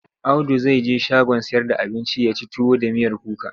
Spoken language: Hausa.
Audu zai je shagon sayar da abinci ya ci tuwo da miyar kuka.